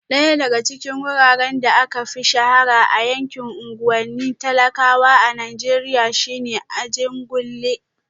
Daya daga cikin wuraren da aka fi shahara a yankin unguwannin talakawa a Najeriya shine Ajegunle